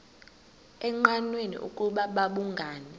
engqanweni ukuba babhungani